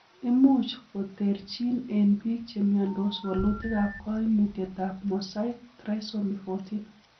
Imuch koterchin en biik chemiondos wolutikab koimutietab mosaic trisomy 14.